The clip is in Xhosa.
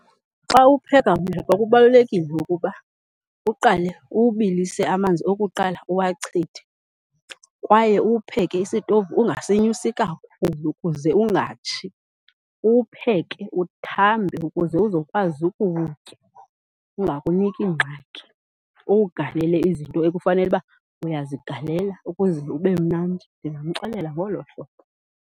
Xa upheka umleqwa kubalulekile ukuba uqale uwubilise amanzi okuqala uwachithe kwaye uwupheke isitovu ungasinyusi kakhulu ukuze ungatshi. Uwupheke uthambe ukuze uzokwazi ukuwutya ungakuniki ingxaki. Uwugalele izinto ekufanele uba uyazigalela ukuze ube mnandi. Ndingamxelela ngolo hlobo.